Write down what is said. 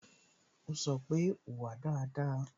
Ó sọ pé "Wùwà dáadáa"